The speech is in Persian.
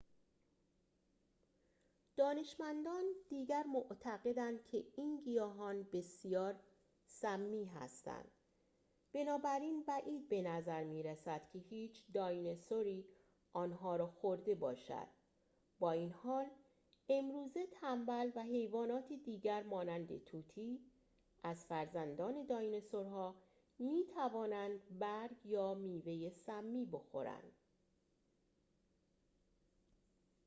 دانشمندان دیگر معتقدند که این گیاهان بسیار سمی هستند، بنابراین بعید به نظر می رسد که هیچ دایناسوری آنها را خورده باشد، با این حال امروزه تنبل و حیوانات دیگر مانند طوطی از فرزندان دایناسورها می توانند برگ یا میوه سمی بخورند